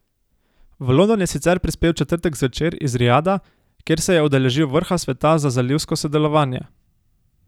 V London je sicer prispel v četrtek zvečer iz Rijada, kjer se je udeležil vrha Sveta za zalivsko sodelovanje.